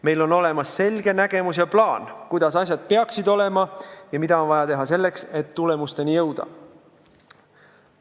Meil on olemas selge nägemus ja plaan, kuidas asjad peaksid olema ja mida on vaja teha selleks, et tulemusteni jõuda.